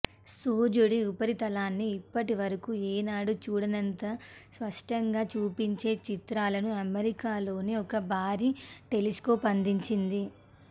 సూర్యుడి ఉపరితలాన్ని ఇప్పటివరకు ఎన్నడూ చూడనంత స్పష్టంగా చూపించే చిత్రాలను అమెరికాలోని ఒక భారీ టెలిస్కోప్ అందించింది